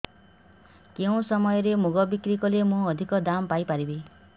କେଉଁ ସମୟରେ ମୁଗ ବିକ୍ରି କଲେ ମୁଁ ଅଧିକ ଦାମ୍ ପାଇ ପାରିବି